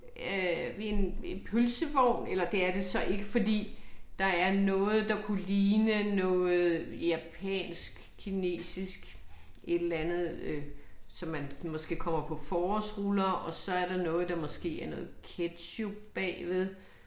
Øh ved en en pølsevogn eller det er det så ikke, fordi der er noget der kunne ligne noget japansk, kinesisk et eller andet øh som man måske kommer på forårsruller og så er der noget der måske er noget ketchup bagved